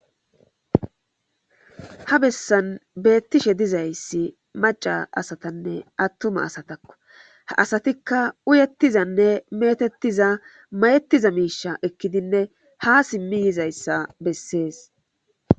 Ha bessan beettishe dizayssi maca asatanne attuma asatakko ha asatikka uyettizanne metettiza mayettiza miisha ekkidinne ha simmi yizayssa bessees.